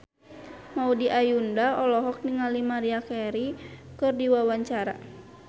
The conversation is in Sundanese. Maudy Ayunda olohok ningali Maria Carey keur diwawancara